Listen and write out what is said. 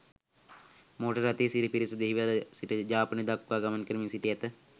Motor රථයේ සිටි පිරිස දෙහිවල සිට යාපනය දක්වා ගමන් කරමින් සිට ඇත.